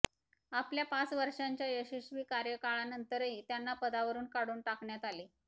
आपल्या पाच वर्षांच्या यशस्वी कार्यकाळानंतरही त्यांना पदावरुन काढून टाकण्यात आले